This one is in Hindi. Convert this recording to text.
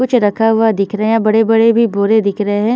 कुछ रखा हुआ दिख रहा है बड़े बड़े बोर भी दिख रहे है।